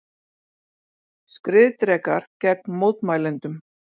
Skriðdrekar gegn mótmælendum